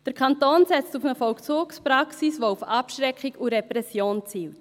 Der Kanton setzt auf eine Vollzugspraxis, die auf Abschreckung und Repression zielt.